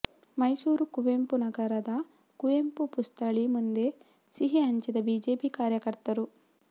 ಮೈಸೂರು ಕುವೆಂಪು ನಗರದ ಕುವೆಂಪು ಪುಸ್ಥಳಿ ಮುಂದೆ ಸಿಹಿ ಹಂಚಿದ ಬಿಜೆಪಿ ಕಾರ್ಯಕರ್ತರು